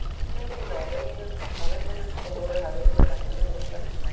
Strengir lágu á vellinum og voru hafðir til að festa með hús jafnan.